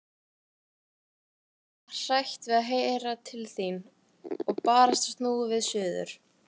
Vorið getur orðið hrætt við að heyra til þín. og barasta snúið við suður.